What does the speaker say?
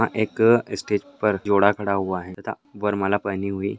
यहाँ एक स्टेज पर जोड़ा खड़ा हुआ है तथा वरमाला पहनी हुई --